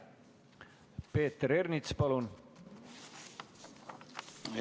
Peeter Ernits, palun!